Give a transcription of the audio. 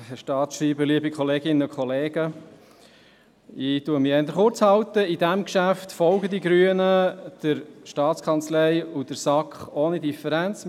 Bei diesem Geschäft folgen die Grünen der Staatskanzlei und der SAK ohne Differenz.